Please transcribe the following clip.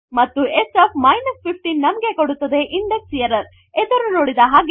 ಮತ್ತು s 15 ನಮಗೆ ಕೊಡುತ್ತದೆ ಇಂಡೆಕ್ಸರರ್ ಎದಿರುನೋಡಿದ ಹಾಗೆ